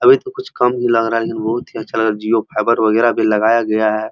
अभी तो कुछ कम ही लग रहा है लेकिन बोहोत ही अच्छा लग रहा है जिओ फाइबर वगैरहभी लगाया गया है।